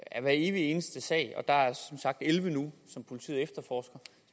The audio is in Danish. er hver evig eneste sag og der er som sagt elleve nu som politiet efterforsker